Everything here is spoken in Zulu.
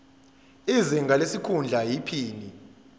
izinga lesikhundla iphini